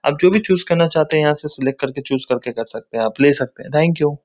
आप जो भी चूज करना चाहते हैं यहां से सिलेक्ट करके चूज कर के कर सकते हैं आप ले सकते है। Thank you |